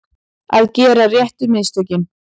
Að gera réttu mistökin